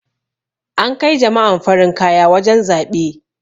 an Kai jama'an farin kaya wajen zaɓe